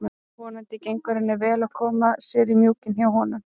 Vonandi gengur henni vel að koma sér í mjúkinn hjá honum.